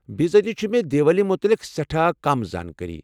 بزٲتی مےٚ چھ دیوالی متعلِق سیٹھاہ كم زانٛکٲری۔